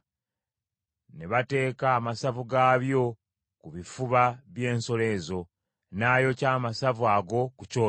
ne bateeka amasavu gaabyo ku bifuba by’ensolo ezo, n’ayokya amasavu ago ku kyoto;